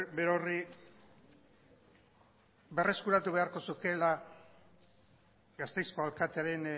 berorri berreskuratu beharko zukeela gasteizko alkatearen